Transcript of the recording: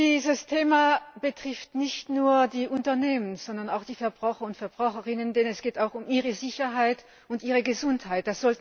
Dieses Thema betrifft nicht nur die Unternehmen, sondern auch die Verbraucher und Verbraucherinnen, denn es geht auch um ihre Sicherheit und Gesundheit.